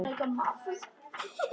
Mamma: Ég setti ekkert niður!